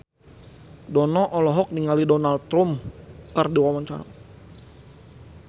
Dono olohok ningali Donald Trump keur diwawancara